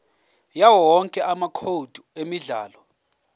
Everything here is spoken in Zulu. yawowonke amacode emidlalo